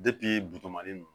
bito mali